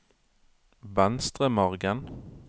Venstremargen